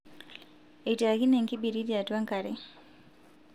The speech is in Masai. etiakine enkibiriti atua enkare